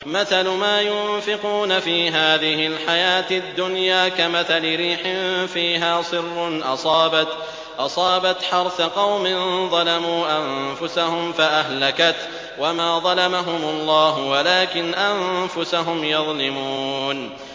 مَثَلُ مَا يُنفِقُونَ فِي هَٰذِهِ الْحَيَاةِ الدُّنْيَا كَمَثَلِ رِيحٍ فِيهَا صِرٌّ أَصَابَتْ حَرْثَ قَوْمٍ ظَلَمُوا أَنفُسَهُمْ فَأَهْلَكَتْهُ ۚ وَمَا ظَلَمَهُمُ اللَّهُ وَلَٰكِنْ أَنفُسَهُمْ يَظْلِمُونَ